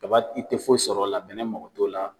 Kaba i te foyi sɔr'ɔ la bɛnɛ mago t'o la